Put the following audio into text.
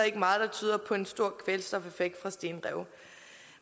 ikke meget der tyder på en stor kvælstofeffekt fra stenrev